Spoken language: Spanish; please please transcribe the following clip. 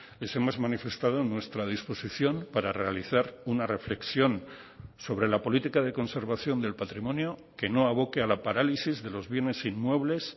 les hemos manifestado nuestra disposición para realizar una reflexión sobre la política de conservación del patrimonio que no aboque a la parálisis de los bienes inmuebles